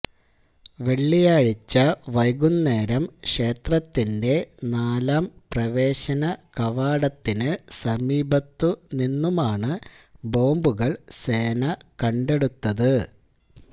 വെള്ളിയാഴ്ച വൈകുന്നേരം ക്ഷേത്രത്തിന്റെ നാലാം പ്രവേശന കവാടത്തിന് സമീപത്തു നിന്നുമാണ് ബോംബുകള് സേന കണ്ടെടുത്തത്